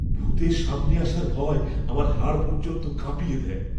ভূতের সামনে আসার ভয় আমার হাড় পর্যন্ত কাঁপিয়ে দেয়।